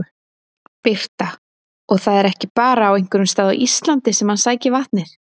Birta: Og það er ekki bara á einhverjum stað á Íslandi sem hann sækir vatnið?